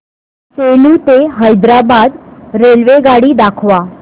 सेलू ते हैदराबाद रेल्वेगाडी दाखवा